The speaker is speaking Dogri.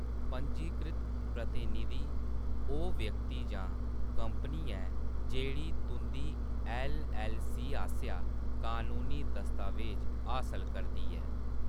पंजीकृत प्रतिनिधि ओह् व्यक्ति जां कंपनी ऐ जेह्‌ड़ी तुं`दी ऐल्लऐल्लसी आसेआ कनूनी दस्तावेज हासल करदी ऐ।